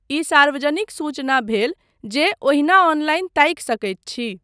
ई सार्वजनिक सूचना भेल जे ओहिना ऑनलाइन ताकि सकैत छी।